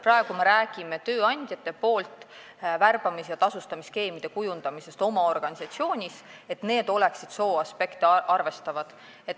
Praegu me räägime tööandjate poolt värbamis- ja tasustamisskeemide kujundamisest oma organisatsioonis nii, et need sooaspekte arvestaksid.